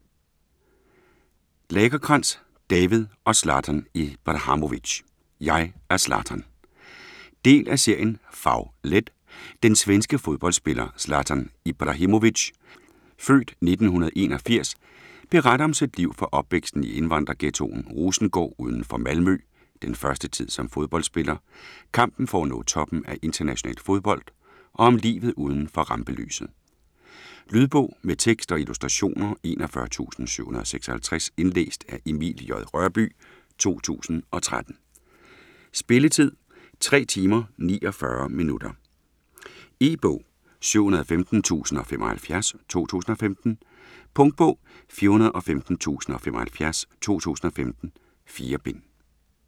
Lagercrantz, David og Zlatan Ibrahimovic: Jeg er Zlatan Del af serien Fag-let. Den svenske fodboldsspiller Zlatan Ibrahimovic (f. 1981) beretter om sit liv fra opvæksten i indvandrerghettoen Rosengård uden for Malmø, den første tid som fodboldspiller, kampen for at nå toppen af international fodbold og om livet uden for rampelyset. Lydbog med tekst og illustrationer 41756 Indlæst af Emil J. Rørbye, 2013. Spilletid: 3 timer, 49 minutter. E-bog 715075 2015. Punktbog 415075 2015. 4 bind.